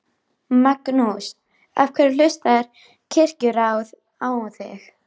Magnús: Af hverju hlustar Kirkjuráð á þig?